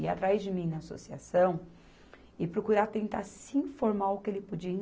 Ir atrás de mim na associação e procurar tentar se informar o que ele podi